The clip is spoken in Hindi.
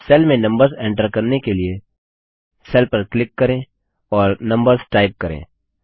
सेल में नम्बर्स एन्टर करने के लिए सेल पर क्लिक करें और नम्बर्स टाइप करें